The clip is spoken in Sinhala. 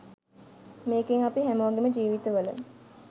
මේකෙන් අපි හැමෝගෙම ජීවිත වල